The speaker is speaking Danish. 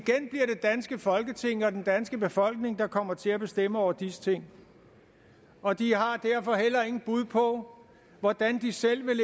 danske folketing og den danske befolkning der kommer til at bestemme over disse ting og de har derfor heller ingen bud på hvordan de selv vil